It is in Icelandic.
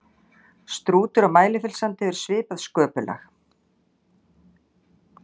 Strútur á Mælifellssandi hefur svipað sköpulag.